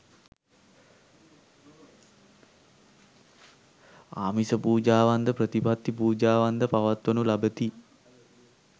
ආමිස පූජාවන්ද ප්‍රතිපත්ති පූජාවන්ද පවත්වනු ලබති.